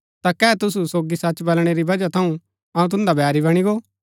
ता कै तुसु सोगी सच बलणै री वजह थऊँ अऊँ तुन्दा बैरी बणी गो